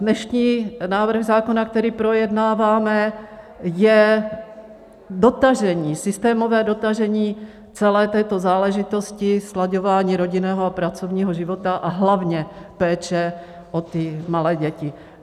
Dnešní návrh zákona, který projednáváme, je dotažení, systémové dotažení celé této záležitosti, slaďování rodinného a pracovního života a hlavně péče o ty malé děti.